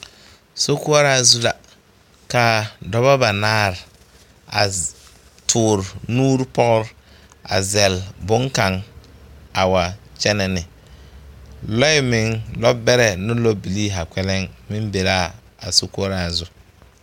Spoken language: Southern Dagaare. Sokoɔraa zu la ka dɔba banaare a toore nuuri pɔgre a zɛle bonkaŋ a wa kyɛnɛ ne lɔɛ meŋ lɔɔbɛrɛ ne lɔɔbilii zaa kpɛlɛŋ be la a sokoɔraa zu.